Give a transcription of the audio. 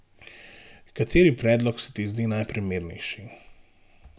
Kateri predlog se ti zdi najprimernejši?